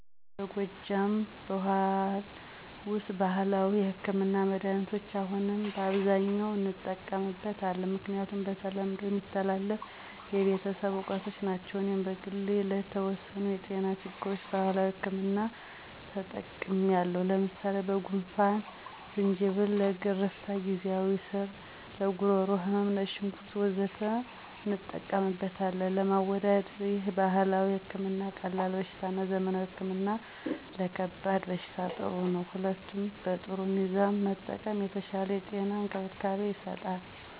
በጎጃም ብኋል ውስጥ ባህላዊ ህክምና(መድኃኒት) አሁንም በብዛት እንጠቀምበት አለን። ምክንያቱም በተለምዶ የሚተላለፍ የቤተሰብ እውቀቶች ናቸው። እኔም በግሌ ለተወሰኑ የጤና ችግሮች የባህላዊ ህክምና ተጠቅሚለው ለምሳሌ፦ ለጉንፍን=ዝንጅብል፣ ለገረፍታ=የግዜዋ ስር፣ ለጉሮሮ ህመም =ነጭ ሽንኩርት... ወዘተ እንጠቀምበታለን። ለማወዳደር ይህል ባህላዊ ህክምና ቀላል በሽታ እና ዘመናዊ ህክምና ለከባድ በሽታዎች ጥሩ ነው። ሁለቱም በጥሩ ሚዛን መጠቀም የተሻለ የጤና እንክብካቤ ይሰጣል።